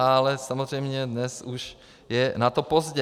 Ale samozřejmě dnes už je na to pozdě.